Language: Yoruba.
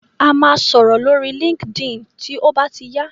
A máa sọ̀rọ̀ lórí Linkedin tí ó bá ti yá.